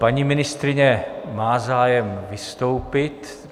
Paní ministryně má zájem vystoupit.